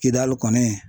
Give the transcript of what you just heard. Kidali kɔni